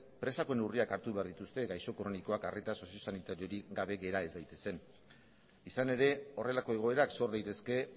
presako neurriak hartu behar dituzte gaixo kronikoak arreta sozio sanitariorik gabe gera ez daitezen izan ere horrelako egoerak sor daitezke